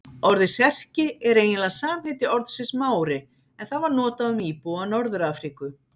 Orðið Serki er eiginlega samheiti orðsins Mári en það var notað um íbúa Norður-Afríku.